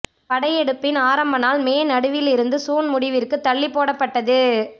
படையெடுப்பின் ஆரம்ப நாள் மே நடுவில் இருந்து சூன் முடிவிற்கு தள்ளி போடப் பட்டது